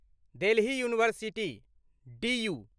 Delhi university DU